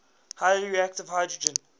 highly reactive hydrogen